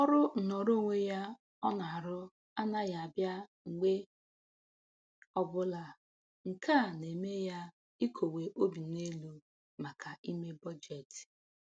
Ọrụ nnọrọ onwe ya ọ na-arụ anaghị abịa mgbe ọbụla, nke a na-eme ya ikowe obi n'elu maka ime bọjetị